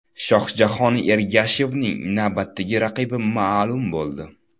Shohjahon Ergashevning navbatdagi raqibi ma’lum bo‘ldi.